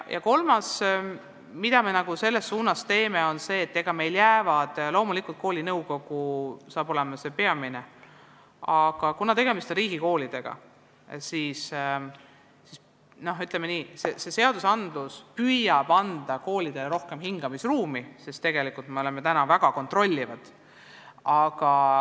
Kolmas asi, mida me selles suunas teeme, on see, et loomulikult on kool see peamine otsustaja, aga kuna tegemist on riigikoolidega, siis seadused püüavad anda koolidele rohkem hingamisruumi, sest me oleme väga kontrollivad.